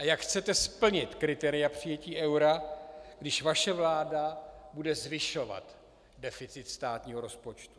A jak chcete splnit kritéria přijetí eura, když vaše vláda bude zvyšovat deficit státního rozpočtu?